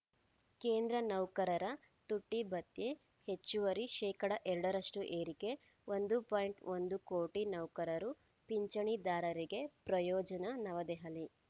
ಕೇಂದ್ರ ನೌಕರರ ತುಟ್ಟಿಭತ್ಯೆ ಹೆಚ್ಚುವರಿ ಶೇಕಡಾ ಎರಡರಷ್ಟುಏರಿಕೆ ಒಂದು ಪಾಯಿಂಟ್ ಒಂದು ಕೋಟಿ ನೌಕರರು ಪಿಂಚಣಿದಾರರಿಗೆ ಪ್ರಯೋಜನ ನವದೆಹಲಿ